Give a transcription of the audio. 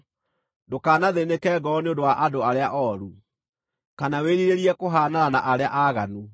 Ndũkanathĩĩnĩke ngoro nĩ ũndũ wa andũ arĩa ooru, kana wĩrirĩrie kũhaanana na arĩa aaganu,